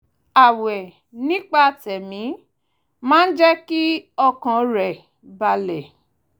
ààwẹ̀ nípa tẹ̀mí máa ń jẹ́ kí ọkàn rẹ̀ balẹ̀